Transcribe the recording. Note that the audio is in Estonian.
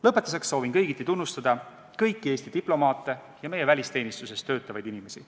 Lõpetuseks soovin kõigiti tunnustada Eesti diplomaate ja meie välisteenistuses töötavaid inimesi.